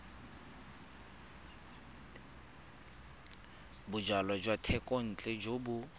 bojalwa jwa thekontle jo bo